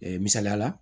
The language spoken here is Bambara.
Ee misaliya la